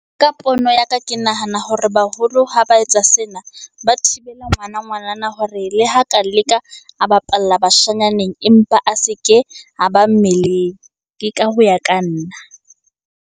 Ka pono ya ka, ke nahana hore baholo ha ba etsa sena. Ba thibele ngwana ngwanana hore le ha ka leka a bapalla bashanyaneng, empa a se ke a ba mmeleng. Ke ka ho ya ka nna.